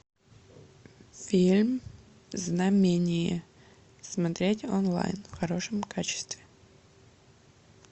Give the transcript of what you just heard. фильм знамение смотреть онлайн в хорошем качестве